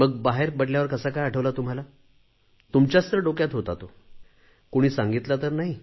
मग बाहेर पडल्यावर कसा काय आठवला तुमच्याच तर डोक्यात होता तो कुणी सांगितला तर नाही